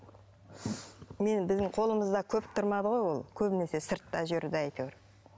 мен біздің қолымызда көп тұрмады ғой ол көбінесе сыртта жүрді әйтеуір